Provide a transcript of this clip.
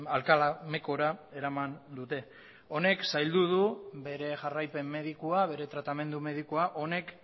alcalá mecora eraman dute honek zaildu du bere jarraipen medikua bere tratamendu medikua honek